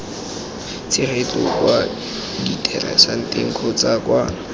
tshegetso kwa diteraseteng kgotsa kwa